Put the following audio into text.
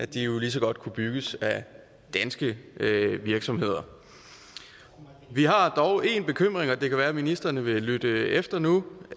de jo lige så godt bygges af danske virksomheder vi har dog én bekymring og det kan være at ministrene vil lytte efter nu